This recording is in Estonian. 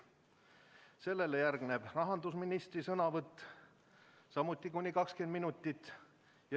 Sellele järgneb rahandusministri sõnavõtt, samuti kuni 20 minutit.